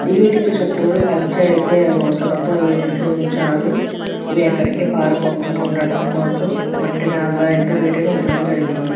వీటికి చుట్టూరు కంచె అయితే ఊసలతో వేసి ఉంచారు ఇ ని ఎక్కడాయికి పారిపోకుండా ఉండడం కోసం మట్టి నెలలో అయితే వీటిని ఉంచటం జరిగింది.